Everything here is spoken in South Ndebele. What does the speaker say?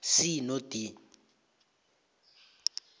c no d